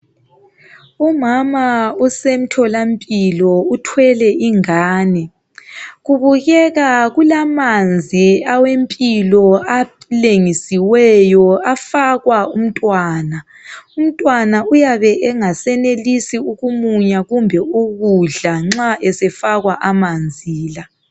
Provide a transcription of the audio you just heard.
Umama usemthola mpilo kubukeka kulamanzi alengisiweyo afakwa umntwana umntwana uyabe engasayenelisi ukumunya kumbe ukudla nxa esefakwa amanzi la